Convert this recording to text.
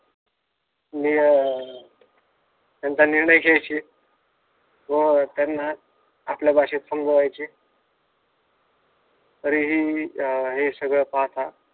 निळं त्यांचा निर्णय घ्यायचे व त्यांना आपल्या भाषेत समजावयचे तरीही हे सगळं पाहता